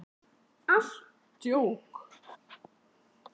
Jóhann: Voru þetta margir björgunarsveitamenn sem tóku þátt í aðgerðum?